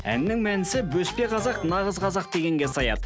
әннің мәнісі бөспе қазақ нағыз қазақ дегенге саяды